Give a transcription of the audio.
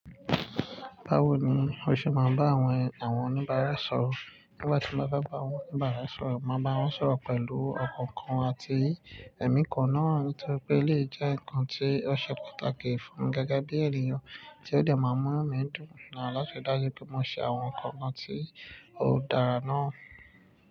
Báwo ni o ṣe máa ń bá àwọn, àwọn oníbàárà sọ̀rọ̀? Nígbà tí mo bá fe ba àwọn oníbàárà sọ̀rọ̀, màá bá wọn sọ̀rọ̀ pẹ̀lú ọ̀kọ̀ọ̀kan àti ẹ̀mí kan náà nítorí pé eleyii jẹ́ ǹnkan tí ó ṣe pàtàkì fún gẹ́gẹ́ bí ènìyàn tí ó dẹ̀ máa n mú inu mi dùn láti ri i dájú pé mò ṣe àwọn nǹkan kan tí ó dára náà.